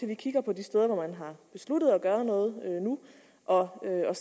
vi kigger på de steder hvor man har besluttet at gøre noget nu og